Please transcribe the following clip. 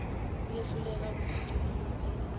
uyehluleka ukusigcina ungobese